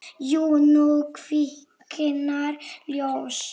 Jú, nú kviknar ljós.